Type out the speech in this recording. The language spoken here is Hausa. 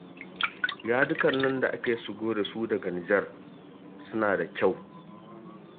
Yadikan nan da ake shigo da su daga Nijar suna da kyau